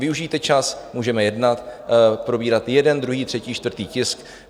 Využijte čas, můžeme jednat, probírat jeden, druhý, třetí, čtvrtý tisk.